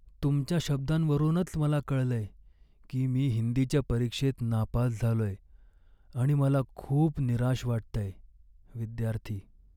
तुमच्या शब्दांवरूनच मला कळलंय की मी हिंदीच्या परीक्षेत नापास झालोय आणि मला खूप निराश वाटतंय. विद्यार्थी